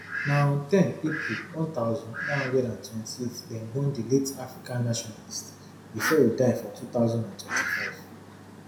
na on ten april one thousand, nine hundred and twenty-eight dem born di late african nationalist bifor e die for two thousand and twenty-five